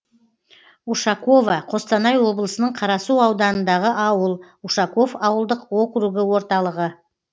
ушаково қостанай облысының қарасу ауданындағы ауыл ушаков ауылдық округі орталығы